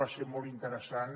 va ser molt interessant